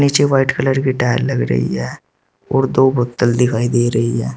नीचे white colour की tile लग रही है और दो बोतल दिखाई दे रही है।